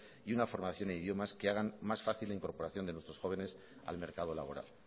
y una formación de idiomas que hagan más fácil la incorporación de nuestros jóvenes al mercado laboral